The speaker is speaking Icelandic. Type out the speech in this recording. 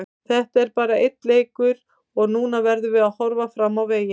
Þetta er bara einn leikur og núna verðum við að horfa fram á veginn.